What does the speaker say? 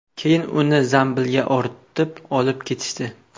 Keyin uni zambilga ortib olib ketishdi.